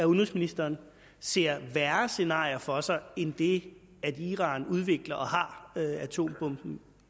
udenrigsministeren ser værre scenarier for sig end det at iran udvikler og har atombomben